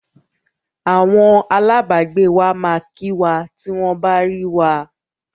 Awọn alábàágbé wa máa kí wa tí wọ́n bá rí wa.